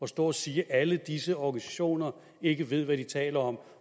står og siger at alle disse organisationer ikke ved hvad de taler om